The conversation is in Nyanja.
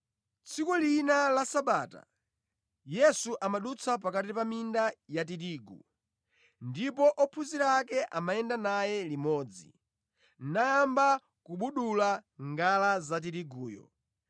Tsiku lina la Sabata, Yesu amadutsa pakati pa minda ya tirigu, ndipo ophunzira ake amayenda naye limodzi, nayamba kubudula ngala za tiriguyo.